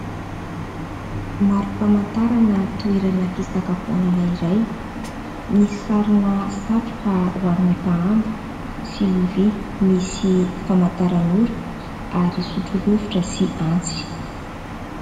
Marom-pamantarana toerana fisakafoanana iray . Misy sary satroka ho an'ny mpahandro sy lovia misy famantarana ora ary sotro rovitra sy antsy .